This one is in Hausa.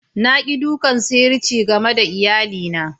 Na ki dukan sihirci game da iyali na.